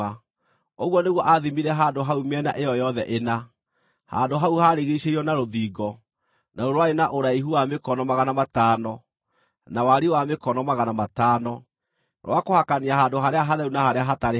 Ũguo nĩguo aathimire handũ hau mĩena ĩyo yothe ĩna. Handũ hau haarigiicĩirio na rũthingo, naruo rwarĩ na ũraihu wa mĩkono magana matano, na wariĩ wa mĩkono magana matano, rwa kũhakania handũ harĩa hatheru na harĩa hatarĩ haamũre.